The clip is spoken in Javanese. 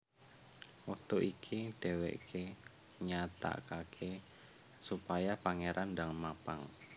Wektu iku dhèwèké nyatakaké supaya Pangéran ndang mapag